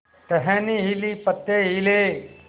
टहनी हिली पत्ते हिले